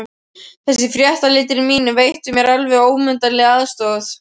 Þessir fréttaritarar mínir veittu mér alveg ómetanlega aðstoð.